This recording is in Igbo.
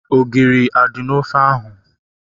Ogiri a dị n'ofe ahu?